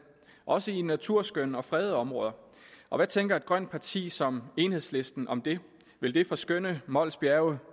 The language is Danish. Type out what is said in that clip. også i naturskønne og fredede områder og hvad tænker et grønt parti som enhedslisten om det vil det forskønne mols bjerge